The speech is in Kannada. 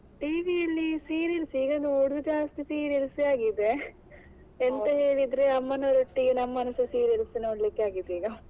TV ಅಲ್ಲಿ serials ಯೇ, ಈಗ ನೋಡೋದು ಜಾಸ್ತಿ serials ಯೇ ಆಗಿದೆ ಎಂತ ಹೇಳಿದ್ರೆ ಅಮ್ಮನವರೊಟ್ಟಿಗೆ ನಮ್ಮನ್ನ ಸಾ serials ನೋಡ್ಲಿಕ್ಕೆ ಆಗಿದೆ ಈಗ .